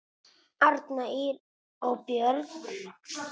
Arnar, Ýr og börn.